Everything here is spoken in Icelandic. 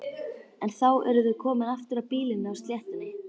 En þá eru þau aftur komin að býlinu á sléttunni.